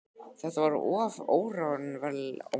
Þetta var of óraunverulegt til að geta staðist.